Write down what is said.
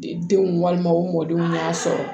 Denw walima u mɔdenw y'a sɔrɔ